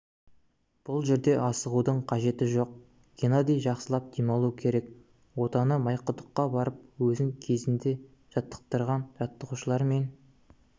бұл жерде асығудың қажеті жоқ геннадий жақсылап демалуы керек отаны майқұдыққа барып өзін кезінде жаттықтырған жаттығушылармен